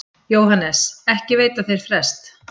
JÓHANNES: Ekki veita þeir frest.